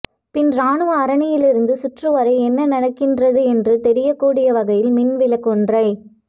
பின் இராணுவ அரணிலிருந்து சுற்று வரை என்ன நடக்கின்றது என்று தெரியக் கூடிய வகையில் மின் விளக்கொன்றை